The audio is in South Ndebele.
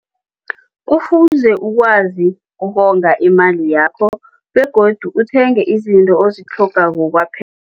Kufuze wazi ukonga imali yakho begodu uthenge izinto ozitlhogakako